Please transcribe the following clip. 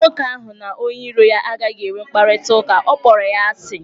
Nwoke ahụ na onye iro ya agaghị enwe mkparịta ụka, ọ kpọrọ ya asị.